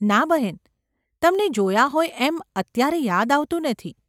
‘ના, બહેન ! તમને જોયાં હોય એમ અત્યારે યાદ આવતું નથી.